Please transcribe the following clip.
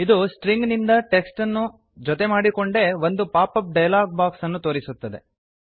ಇದು ಸ್ಟ್ರಿಂಗ್ ನಿಂದ ಟೆಕ್ಸ್ಟ್ ಅನ್ನು ಜೊತೆ ಮಾಡಿಕೊಂಡೇ ಒಂದು ಪಾಪಪ್ ಡಯಲಾಗ್ ಬಾಕ್ಸ್ ಅನ್ನು ತೋರಿಸುತ್ತದೆ